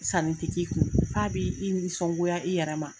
Sanni ti k'i kun f'a b'i i nisɔngoya i yɛrɛ ma.